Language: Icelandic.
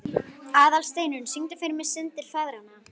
Aðalsteinunn, syngdu fyrir mig „Syndir feðranna“.